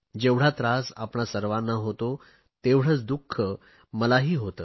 जेवढा त्रास आपणा सर्वांना होतो तेवढेच दुख मलाही होते